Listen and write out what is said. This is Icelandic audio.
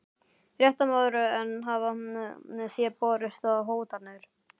Fréttamaður: En hafa þér borist hótanir?